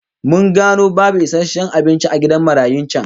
Mun gano babu isasshen abinci a gidan marayun can